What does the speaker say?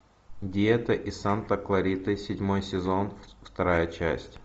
диета из санта клариты седьмой сезон вторая часть